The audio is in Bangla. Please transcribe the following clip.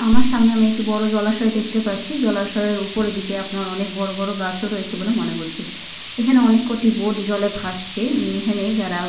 আমার সামনে একটি বড় জলাশয় দেখতে পারছি। জলাশয়ের উপরের দিকে আপনার অনেক বড় বড় গাছও রয়েছে বলে মনে হচ্চে। এখানে অনেক কয়টি বোট জলে ভাসছে। এম এখানে যারা --